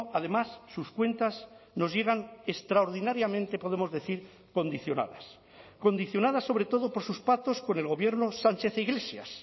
además sus cuentas nos llegan extraordinariamente podemos decir condicionadas condicionadas sobre todo por sus pactos con el gobierno sánchez iglesias